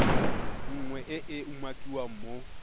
nngwe e e umakiwang mo